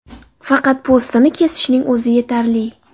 Faqat po‘stini kesishning o‘zi yetarli.